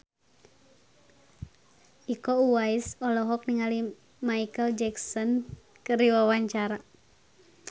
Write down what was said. Iko Uwais olohok ningali Micheal Jackson keur diwawancara